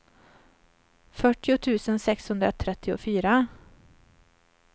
fyrtio tusen sexhundratrettiofyra